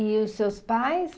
E os seus pais?